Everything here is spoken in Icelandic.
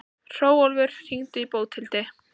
Hrólfur, hringdu í Bóthildi.